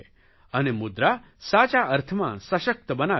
અને મુદ્રા સાચા અર્થમાં સશક્ત બનાવે છે